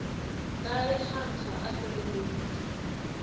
ka ge kgankga a feleleditše